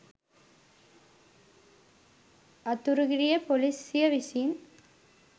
අතුරුගිරිය පොලිසිය විසින්